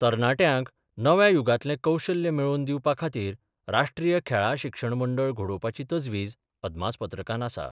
तरणाट्यांक नव्या युगांतलें कौशल्य मेळोवन दिवपाखातीर राष्ट्रीय खेळां शिक्षण मंडळ घडोवपाची तजवीज अदमासपत्रकांत आसा.